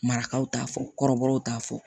Marakaw t'a fɔ kɔrɔbɔrɔw t'a fɔ